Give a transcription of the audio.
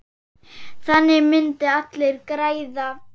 Þannig myndu allir græða.